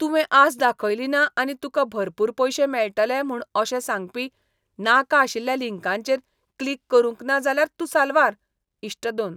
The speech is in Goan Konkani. तुवें आस दाखयली ना आनी तुका भरपूर पयशे मेळटले म्हूण अशें सांगपी नाका आशिल्ल्या लिंकांचेर क्लिक करूंक ना जाल्यार तूं साल्वार. इश्ट दोन